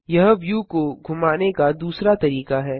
यह व्यू को घुमाने का दूसरा तरीका है